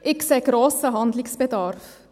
Ich sehe grossen Handlungsbedarf.